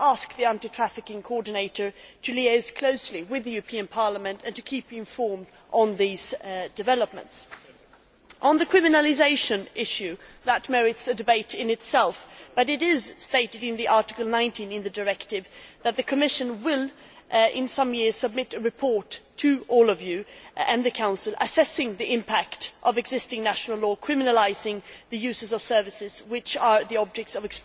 I will ask the Anti Trafficking Coordinator to liaise closely with the European Parliament and to keep you informed on these developments. The criminalisation issue merits a debate in itself, but it is stated in Article 19 of the directive that the Commission will, in some years, submit a report to the European Parliament and the Council assessing the impact of existing national law criminalising the users of services which are the objects of